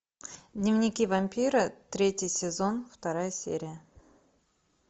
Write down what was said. дневники вампира третий сезон вторая серия